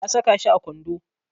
Na saka shi a kwando.